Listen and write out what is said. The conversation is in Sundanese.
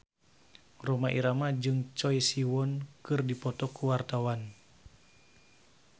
Rhoma Irama jeung Choi Siwon keur dipoto ku wartawan